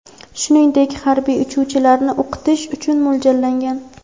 shuningdek harbiy uchuvchilarni o‘qitish uchun mo‘ljallangan.